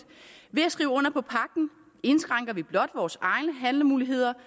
ved at skrive under på pagten indskrænker vi blot vores egne handlemuligheder